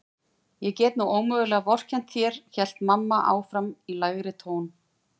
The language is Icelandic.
Ég get nú ómögulega vorkennt þér hélt mamma áfram í lægri tón.